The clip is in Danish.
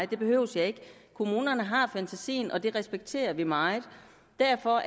det behøver jeg ikke kommunerne har fantasien og det respekterer vi meget derfor